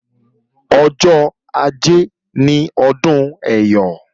Ọjọ́ ajé ni ọdún Ẹyọ̀